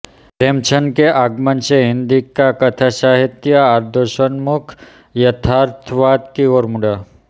प्रेमचंद के आगमन से हिन्दी का कथासाहित्य आदर्शोन्मुख यथार्थवाद की ओर मुड़ा